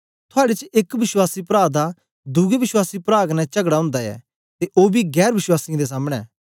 थुआड़े च एक विश्वासी प्रा दा दुए विश्वासी प्रा कन्ने चगड़ा ओंदा ऐ ते ओ बी गैर वश्वासीयें दे सामने